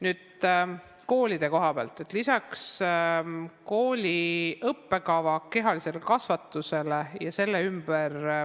Nüüd koolide koha pealt ja kooli kehalise kasvatuse õppekavast.